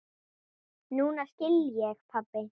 Núna skil ég, pabbi.